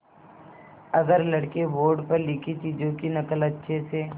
अगर लड़के बोर्ड पर लिखी चीज़ों की नकल अच्छे से